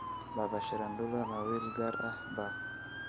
Papa shirandula ma wiil gaar ah baa?